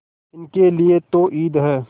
इनके लिए तो ईद है